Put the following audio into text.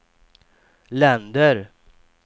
länder